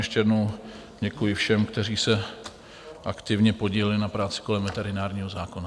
Ještě jednou děkuji všem, kteří se aktivně podíleli na práci kolem veterinárního zákona.